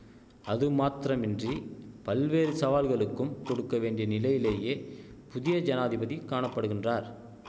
அது மாத்திரமின்றி பல்வேறு சவால்களுக்கும் கொடுக்க வேண்டிய நிலையிலேயே புதிய ஜனாதிபதி காணப்படுகின்றார்